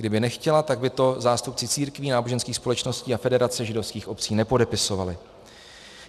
Kdyby nechtěla, tak by to zástupci církví, náboženských společností a Federace židovských obcí nepodepisovali.